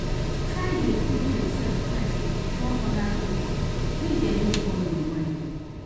Try de put yourself first before other pipo make dem no spoil your mind